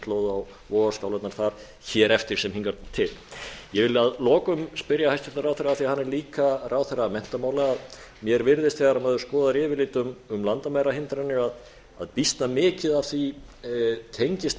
á vogarskálarnar þar hér eftir sem hingað til ég vil að lokum spyrja hæstvirtan ráðherra af því hann er líka ráðherra menntamála mér virðist þegar maður skoðar yfirlit um landamærahindranir að býsna mikið af því tengist